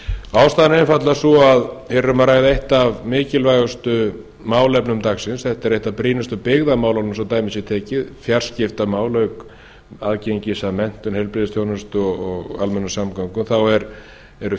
ástæðan er einfaldlega sú að hér er um að ræða eitt af mikilvægustu málefnum dagsins þetta er eitt af brýnustu byggðarmálunum svo dæmi sé tekið fjarskiptamál auk aðgengis að menntun heilbrigðisþjónustu og almennum samgöngum þá eru